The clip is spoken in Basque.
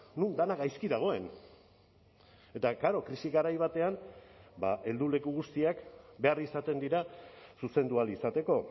non dena gaizki dagoen eta klaro krisi garai batean helduleku guztiak behar izaten dira zuzendu ahal izateko